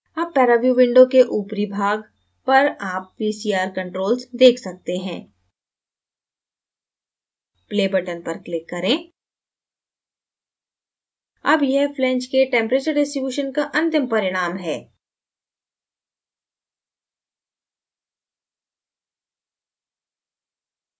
अब paraview window के ऊपरी भाग पर आप vcr controls देख सकते हैं play button पर click करें अब यह flange के temperature distribution का अंतिम परिणाम है